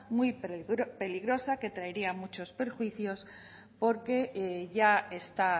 muy peligrosa que traería muchos perjuicios porque ya está